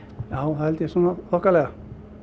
já það held ég svona þokkalega